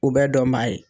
U bɛ dɔn baa ye